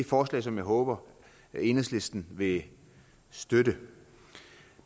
forslag som jeg håber enhedslisten vil støtte